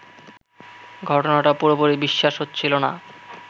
ঘটনাটা পুরোপুরি বিশ্বাস হচ্ছিল না